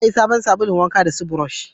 Za a yi sabon sabulun wanka da su burosh